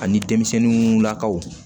Ani denmisɛnninlakaw